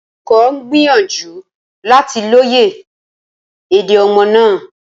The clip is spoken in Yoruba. Olùkọ́ ń gbìyànjú láti lóye èdè ọmọ náà